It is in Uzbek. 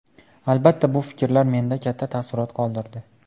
Albatta, bu fikrlar menda katta taassurot qoldirdi.